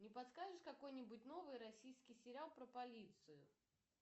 не подскажешь какой нибудь новый российский сериал про полицию